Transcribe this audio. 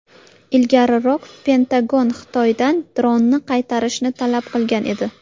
Ilgariroq Pentagon Xitoydan dronni qaytarishni talab qilgan edi .